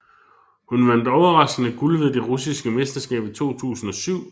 Hun vandt overraskende guld ved det russiske mesterskab i 2007